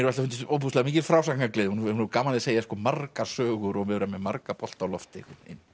alltaf fundist ofboðslega mikil frásagnargleði hún hefur gaman af að segja margar sögur og vera með marga bolta á lofti